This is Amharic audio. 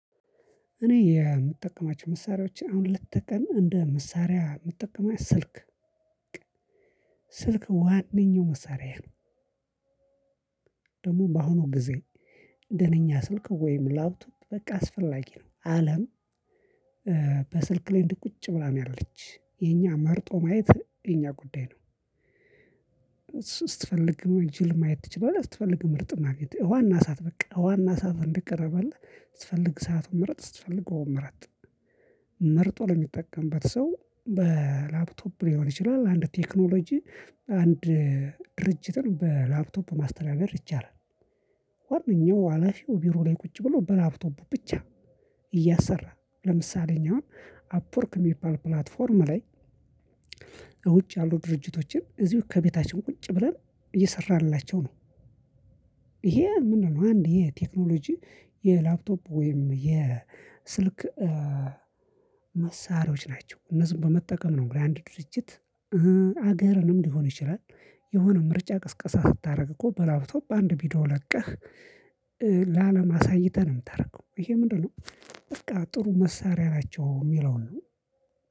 እኔ የምጠቀማቸው መሳሪያዎች አሁን ሌት ተቀን እንደ መሳሪያ የምጠቀማው ስልክ በቃ ስልክ ዋነኛው መሳሪያየ ነው። ደግሞ በአሁኑ ጊዜ ደነኛ ስልክ ወይም ላፕቶፕ በቃ አስፈላጊ ነው አለም እ በስልክ ላይ እንዲህ ቁጭ ብላ ነው ያለች የኛ መርጦ ማየት የኛ ጉዳይ ነው እ ስትፈልግም ጅል ማየት ትችላለህ ስትፈልግ ምርጥ ማግኘት ውሃ እና እሳት በቃ ውሃ እና እሳት እንደቀረብህ ስትፈልግ እሳቱን ምርጥ ስትፈልግ ውሃውን ምረጥ። መርጦ ለሚጠቀምበት ሰው በእ ላፕቶፕ ሊሆን ይችላል አንድ ቴክኖሎጂ አንድ እ ድርጅትን በላፕቶፕ ማስተዳደር ይቻላል። ዋነኛው ሀላፊው ቢሮ ላይ ቁጭ ብሎ በላፕቶፑ ብቻ እያሰራ ለምሳሌ እኛ አሁን አፕ ወርክ የሚባል ፕላትፎርም ላይ ውጭ ያሉ ድርጅቶችን እዚሁ ከቤታችን ቁጭ ብለን እየሰራንላቸው ነው። ይሄ ምንድነው? አንድ የቴክኖሎጂ የላፕቶፕ ወይም የስልክ እ መሳሪያዎች ናቸው እነዚህን በመጠቀም ነው እግዲህ አንድ ድርጅት እ ሀገርንም ሊሆን ይችላል። የሆነ ምርጫ ቅስቀሳ ስታረግ እኮ በላፕቶፕ በአንድ ቪዲዮ ለቀህ እ ለአለም ምተረከው ይሄ ምንድነው? በቃ ጥሩ መሳሪያ ናቸው የሚለውን ነው